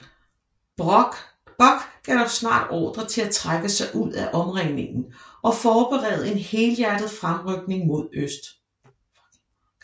Bock gav snart ordre til at trække sig ud af omringningen og forberede en helhjertet fremrykning mod øst